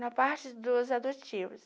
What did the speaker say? Na parte dos adotivos,